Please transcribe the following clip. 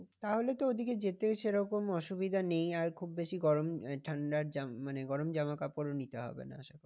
তাহলে তো ওদিকে যেতেও সেরকম অসুবিধা নেই আর খুব বেশি গরম ঠান্ডার মানে গরম জামা কাপড়ও নিতে হবে না আশা করি।